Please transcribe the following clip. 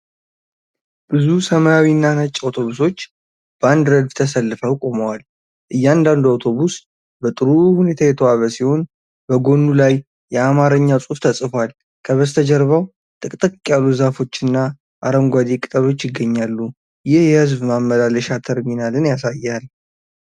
ብዙ ሰማያዊና ነጭ አውቶቡሶች በአንድ ረድፍ ተሰልፈው ቆመዋል። እያንዳንዱ አውቶቡስ በጥሩ ሁኔታ የተዋበ ሲሆን፣ በጎኑ ላይ የአማርኛ ጽሑፍ ተጽፏል። ከበስተጀርባው ጥቅጥቅ ያሉ ዛፎች እና አረንጓዴ ቅጠሎች ይገኛሉ። ይህ የሕዝብ ማመላለሻ ተርሚናልን ያሳያል።